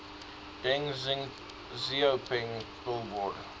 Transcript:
deng xiaoping billboard